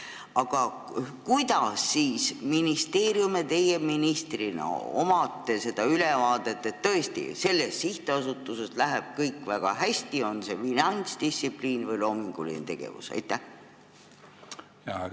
Aga kuidas siis ministeerium ja teie ministrina saate ülevaate, et selles sihtasutuses läheb kõik väga hästi kas finantsdistsipliini või loomingulise tegevuse mõttes?